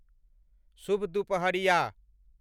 शुभ दुपहरिया ।